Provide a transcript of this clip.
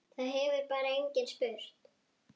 Það hefur bara enginn spurt